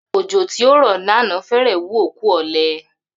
Ò̩jò̩ tí ó rò̩ ní àná fé̩rè̩ wú òkú ò̩le̩